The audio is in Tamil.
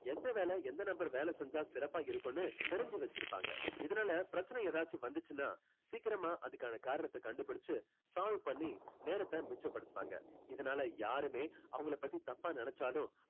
என்ன வேலை எந்த நபர் வேலை செஞ்சா சிறப்பா இருக்கும்னு தெரிஞ்சு வச்சிருப்பாங்க. இதனால பிரச்சினை ஏதாச்சும் வந்துச்சுன்னா சீக்கிரமா அதுக்கான காரணத்தை கண்டுபிடிச்சு solve பண்ணி நேரத்தை மிச்சப்படுத்துவாங்க. இதனால யாருமே அவங்களை பத்தி தப்பா நினைச்சாலும்